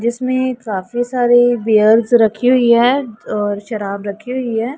जिसमें काफी सारे बीयर्स रखी हुई है और शराब रखी हुई है।